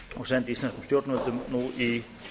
og sendi það íslenskum stjórnvöldum í